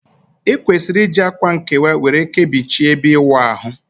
I kwesiri iji akwa nkewa were Kebichie ebe iwu ahu